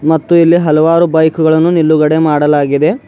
ಮತ್ತು ಇಲ್ಲಿ ಹಲವಾರು ಬೈಕ್ ಗಳನ್ನು ನಿಲ್ಲುಗಡೆ ಮಾಡಲಾಗಿದೆ.